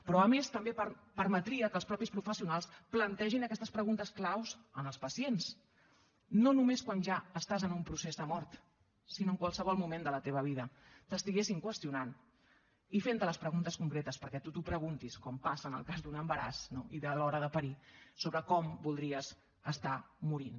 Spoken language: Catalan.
però a més també permetria que els mateixos professionals plantegin aquestes preguntes clau als pacients no només quan ja estàs en un procés de mort sinó en qualsevol moment de la teva vida t’estiguessin qüestionant i fent te les preguntes concretes perquè tu t’ho preguntis com passa en el cas d’un embaràs no i de l’hora de parir sobre com voldries estar morint